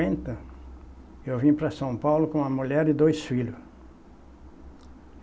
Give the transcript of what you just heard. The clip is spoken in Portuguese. Eu vim para São Paulo com a mulher e dois filhos.